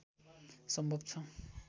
सम्भव छ